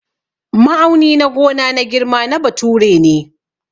Ma'auni na gona na girma na bature ne.